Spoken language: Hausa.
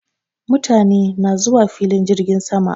Mutane na zuwafilin jirgin sama